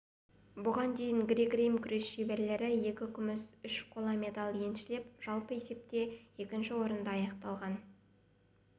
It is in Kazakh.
бұған дейін грек-рим күрес шеберлері екі күміс үш қола медаль еншілеп жалпы есепте екінші орында аяқтаған